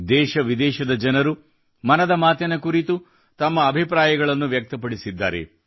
ದೇಶ ವಿದೇಶದ ಜನರು ಮನದ ಮಾತಿನ ಕುರಿತು ತಮ್ಮ ಅಭಿಪ್ರಾಯಗಳನ್ನು ವ್ಯಕ್ತಪಡಿಸಿದ್ದಾರೆ